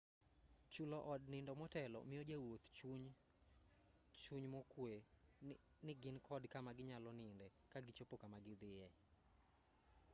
chulo od nindo motelo miyo jowuoth chuny mokwe ni gin kod kama ginyalo ninde kagichopo kama gidhiye